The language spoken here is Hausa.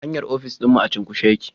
Hanyar ofis dinmu a cunkushe yake